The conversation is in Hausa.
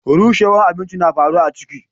Rushewwan abinci na faru a ciki.